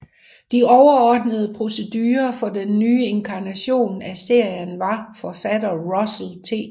De overordnede producere på den nye inkarnation af serien var forfatter Russell T